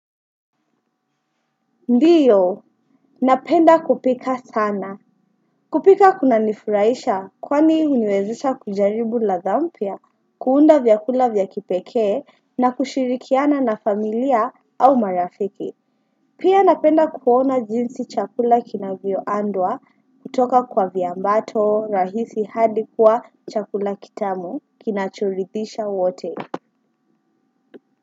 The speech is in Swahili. Ndio, napenda kupika sana. Kupika kunanifurahisha kwani huniwezesha kujaribu ladha mpya, kuunda vyakula vya kipekee na kushirikiana na familia au marafiki. Pia napenda kuona jinsi chakula kinavyoandwa kutoka kwa viambato rahisi hadi kuwa chakula kitamu kinachoridhisha wote.